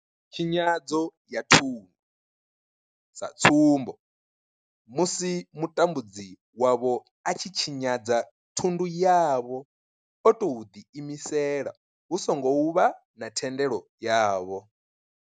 Tshinyadzo ya thundu, sa tsumbo, musi mutambudzi wavho a tshi tshinyadza thundu yavho o tou ḓiimisela hu songo vha na thendelo yavho.